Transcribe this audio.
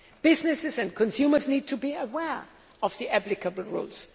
Businesses and consumers need to be aware of the applicable rules.